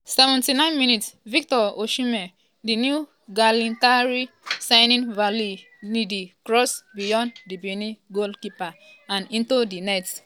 79 mins -victor osimhen!di new galatasaray signing volley ndidi cross beyond di benin goalkeeper and into di net.